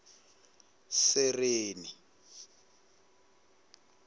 sereni